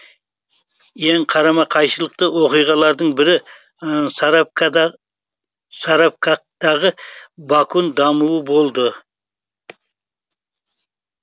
ең қарама қайшылықты оқиғалардың бірі саравактағы бакун дамуы болды